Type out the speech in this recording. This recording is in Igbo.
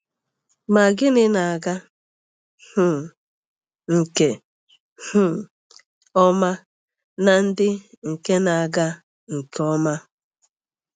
Ma gịnị na-aga um nke um ọma na ndị nke na-aga nke ọma?